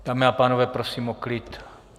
Dámy a pánové, prosím o klid.